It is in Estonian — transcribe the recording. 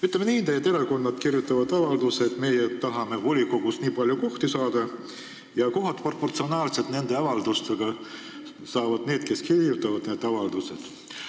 Ütleme nii, et erakonnad kirjutavad avalduse, et nad tahavad volikogus nii ja nii palju kohti saada ning kohad proportsionaalselt avaldustega saavad need, kes on neid avaldusi kirjutanud.